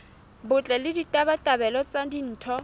botle le ditabatabelo tsa ditho